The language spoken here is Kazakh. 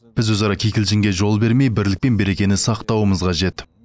біз өзара кикілжіңге жол бермей бірлік пен берекені сақтауымыз қажет